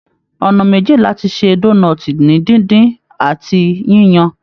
Ọnà méjì láti ṣe donọ́ọ̀tí ni díndín àti yíyan.